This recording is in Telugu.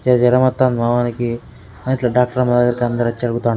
చలి జరం వత్తనది మా వోనికి ఇట్లా డాక్టోరమ్మ దగ్గరికి అందరూ వచ్చి అడుగుతా --